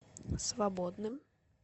свободным